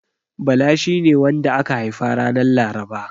Bala shine wanda aka haifa ranar Laraba.